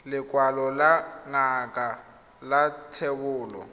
lekwalo la ngaka la thebolo